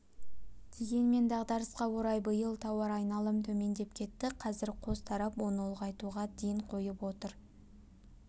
дегенмен дағдарысқа орай биыл тауар айналым төмендеп кетті қазір қос тарап оны ұлғайтуға ден қойып отыр